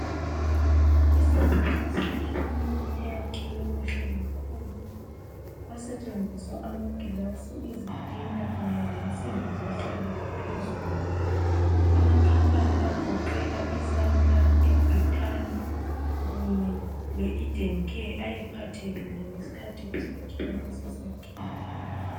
ISanitus clinic eyakhiwe kuhle kakhulu, kwasentshenziswa amagilasi, izitina kunye lensimbi zafulela phezulu. Amakhampani agoqela iSanlam, iBritam kunye leEden care ayephathekile ngesikhathi kusakhiwa leso sakhiwo.